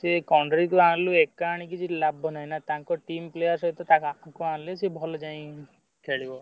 ସେ ଆଣିଲୁ ଏକା ଆଣିକି କିଛି ଲାଭ ନାହିଁ ନା ତାଙ୍କ team player ସହିତ ଖେଳିବ।